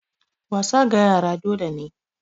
Wasa ga yara dole ne